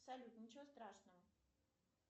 салют ничего страшного